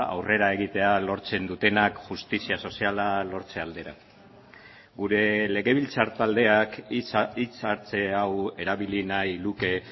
aurrera egitea lortzen dutenak justizia soziala lortze aldera gure legebiltzar taldeak hitzartze hau erabili nahi luke